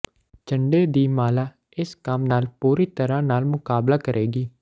ਝੰਡੇ ਦੀ ਮਾਲਾ ਇਸ ਕੰਮ ਨਾਲ ਪੂਰੀ ਤਰ੍ਹਾਂ ਨਾਲ ਮੁਕਾਬਲਾ ਕਰੇਗੀ